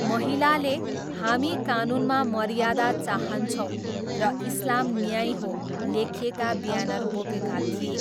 महिलाले 'हामी कानुनमा मर्यादा चाहन्छौँ' र 'इस्लाम न्याय हो' लेखिएका ब्यानर बोकेका थिए।